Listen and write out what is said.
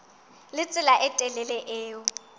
le tsela e telele eo